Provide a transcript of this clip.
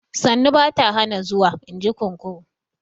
Sannu ba ta hana zuwa, in ji kunkuru